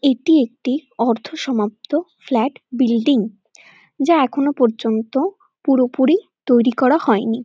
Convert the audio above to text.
এটি একটি অর্ধ সমাপ্ত ফ্ল্যাট বিল্ডিং যা এখনো পর্যন্ত পুরোপুরি তৈরি করা হয়নি।